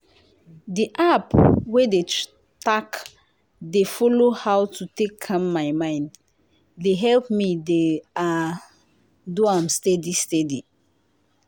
di app wey dey tack dey follow how to take calm my mind dey help me dey ah! do am steady steady.